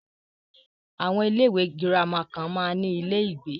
Àwọn ilé ìwé gírámà kan máa ń ní ilé ìgbé.